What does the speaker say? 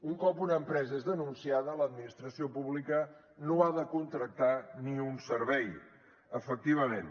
un cop una empresa és denunciada l’administració pública no li ha de contractar ni un servei efectivament